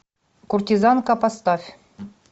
куртизанка поставь